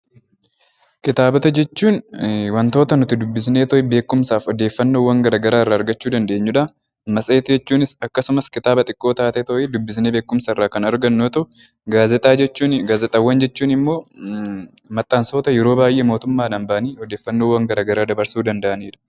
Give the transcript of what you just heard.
Kitaabota jechuun wantoota nuti dubbisneetoo beekumsaaf odeeffannoowwan gara garaa irraa argachuu dandeenyudha. Matseetii jechuunis akkasuma kitaaba xiqqoo taateetooyi dubbisnee beekumsa irraa kan argannu yoo ta'u, gaazexaawwan jechuun immoo maxxansoota yeroo baay'ee mootummaadhaan ba'anii odeeffannoowwan gara garaa dabarsuu danda'anidha.